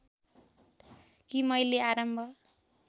कि मैले आरम्भ